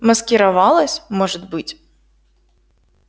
маскировалась может быть